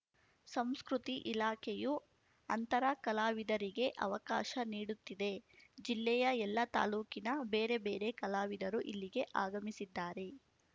ಸಂಸ್ಕೃತಿ ಇಲಾಖೆಯು ಅಂತರ ಕಲಾವಿದರಿಗೆ ಅವಕಾಶ ನೀಡುತ್ತಿದೆ ಜಿಲ್ಲೆಯ ಎಲ್ಲ ತಾಲೂಕಿನ ಬೇರೆ ಬೇರೆ ಕಲಾವಿದರು ಇಲ್ಲಿಗೆ ಆಗಮಿಸಿದ್ದಾರೆ